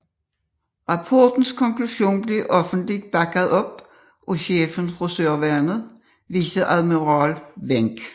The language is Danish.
Rapportens konklusion blev offentligt bakket op af chefen for søværnet Viceadmiral Wenck